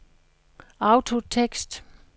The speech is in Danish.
autotekst